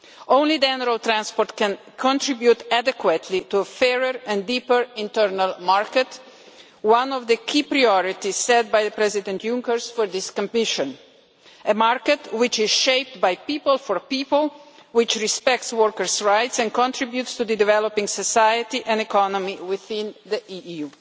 Only then can road transport contribute adequately to a fairer and deeper internal market one of the key priorities set by President Juncker for this Commission a market which is shaped by people for people, which respects workers' rights and contributes to the developing society and economy within the EU.